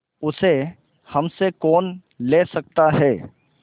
उसे हमसे कौन ले सकता है